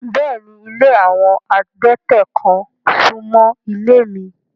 Bẹ́ẹ̀ni, ilé awọn adẹ̀tẹ̀ kan sún mọ́ ilé mi